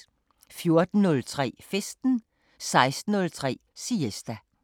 14:03: Festen 16:03: Siesta